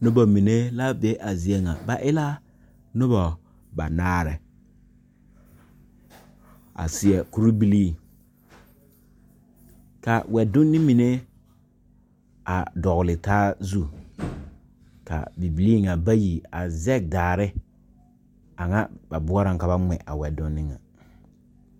Noba mine la be a zie nyɛ. Ba e la noba banaare a seɛ kpurebilii kyɛ ka wɛdonne dɔgle taazu.A Bibiire zɛge la daare bɔɔrɔ ka ba gmɛ a wɛdonne.